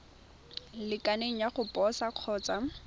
lekaneng ya go posa kgotsa